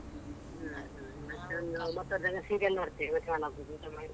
ಹ್ಮ್ ಹ್ಮ್ ಮತ್ತೊಂದು ಮಕ್ಕಳ್ ಜೊತೆ serial ನೋಡ್ತೇವೆ seven o'clock ಊಟ ಮಾಡಿ.